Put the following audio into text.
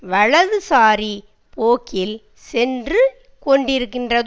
வலதுசாரி போக்கில் சென்று கொண்டிருக்கின்றது